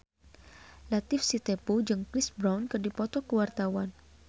Latief Sitepu jeung Chris Brown keur dipoto ku wartawan